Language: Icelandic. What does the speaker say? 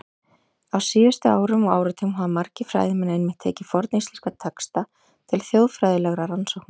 Á síðustu árum og áratugum hafa margir fræðimenn einmitt tekið forníslenska texta til þjóðfræðilegra rannsókna.